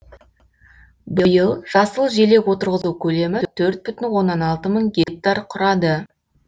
биыл жасыл желек отырғызу көлемі төрт бүтін оннан алты мың гектар құрады